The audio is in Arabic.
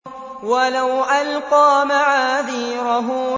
وَلَوْ أَلْقَىٰ مَعَاذِيرَهُ